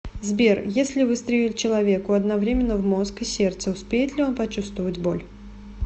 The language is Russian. сбер если выстрелить человеку одновременно в мозг и сердце успеет ли он почувствовать боль